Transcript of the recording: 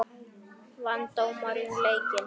Vann dómarinn leikinn?